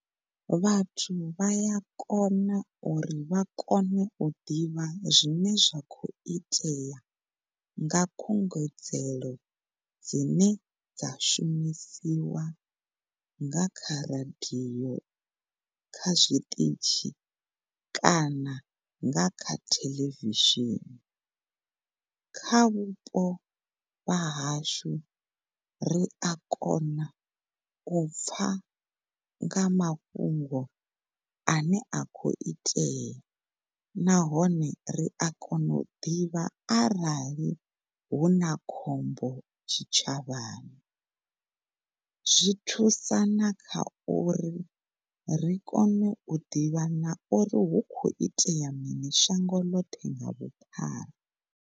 Vhathu vha ya kona uri vha kone u ḓivha zwine zwa khou itea nga khungedzelo dzine dzashu shumisiwa nga kha radio kha zwiṱitshi kana nga kha theḽevishini. Kha vhupo wa hashu ri a kona u pfa nga mafhungo ane a khou itea nahone ri a kona u ḓivha arali huna khombo tshitshavhani zwithu thusana kha uri ri kone u ḓivha na uri hu khou itea mini shango ḽoṱhe nga vhuphara.